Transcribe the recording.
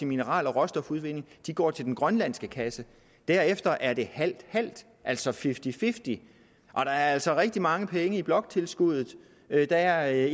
mineraler og råstofudvinding går til den grønlandske kasse derefter er det halvt halvt altså fifty fifty og der er altså rigtig mange penge i bloktilskuddet der er